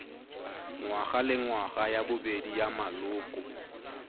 ngwagalengwaga ya bobedi ya maloko